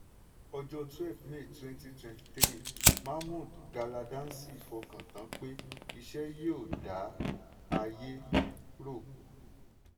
ọjọ́ twelve may twenty twenty three mahmud galadanci fọkàn tán pé iṣẹ́ yóò dá ayé rọ̀.